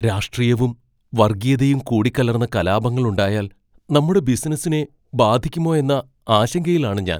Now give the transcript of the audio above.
രാഷ്ട്രീയവും വർഗീയതയും കൂടിക്കലർന്ന് കലാപങ്ങളുണ്ടായാൽ നമ്മുടെ ബിസിനസ്സിനെ ബാധിക്കുമോ എന്ന ആശങ്കയിലാണ് ഞാൻ.